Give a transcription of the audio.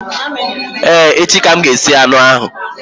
Ee, echi ka m ga-esi anụ